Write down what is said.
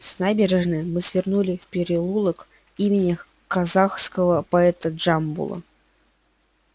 с набережной мы свернули в переулок имени казахского поэта джамбула